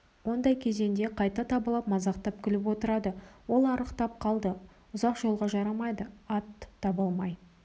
ондай кезеңде қайта табалап мазақтап күліп отырады ол арықтап қалды ұзақ жолға жарамайды ат таба алмай